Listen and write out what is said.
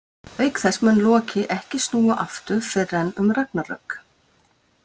Auk þess mun Loki ekki snúa aftur fyrr en um Ragnarök.